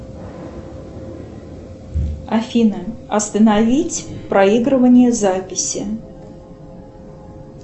афина остановить проигрывание записи